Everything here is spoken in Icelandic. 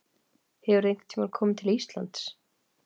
Hefurðu einhvern tíma komið til Íslands?